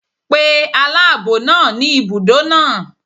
Pe aláàbọ̀ náà ni ibùdó náà.